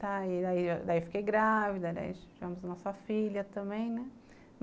Tá, daí eu fiquei grávida, tivemos a nossa filha também, né.